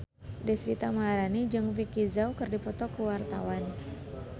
Deswita Maharani jeung Vicki Zao keur dipoto ku wartawan